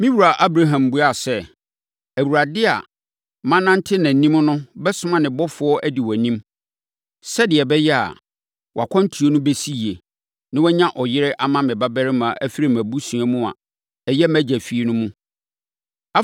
“Me wura Abraham buaa sɛ, ‘ Awurade a manante nʼanim no bɛsoma ne ɔbɔfoɔ, adi wʼanim, sɛdeɛ ɛbɛyɛ a, wʼakwantuo no bɛsi yie, na woanya ɔyere ama me babarima afiri mʼabusua mu a ɛyɛ mʼagya fie no mu.